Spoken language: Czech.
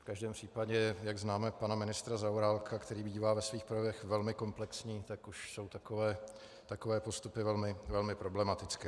V každém případě, jak známe pana ministra Zaorálka, který bývá ve svých projevech velmi komplexní, tak už jsou takové postupy velmi problematické.